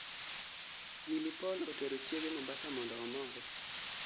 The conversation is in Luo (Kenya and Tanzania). Willy Paul otero Chiege Mombasa mondo omore